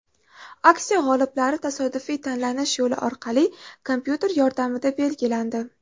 Aksiya g‘oliblari tasodifiy tanlanish yo‘li orqali kompyuter yordamida belgilandi.